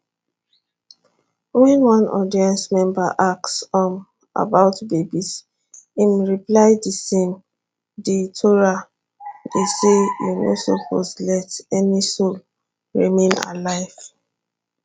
wen one audience member ask um about babies im reply di same di torah dey say you no suppose let any soul remain alive